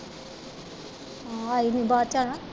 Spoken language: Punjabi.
ਆਈ ਨੀ ਬਾਅਦ ਚ ਹੈਨਾ।